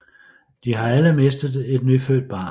De har alle mistet et nyfødt barn